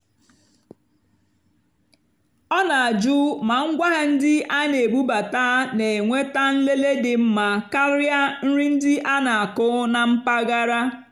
ọ́ nà-àjụ́ mà ngwáàhịá ndí á nà-èbúbátá nà-ènwètá nlèlé dì mmá kàrị́á nrì ndí á nà-ákụ́ nà mpàgàrà.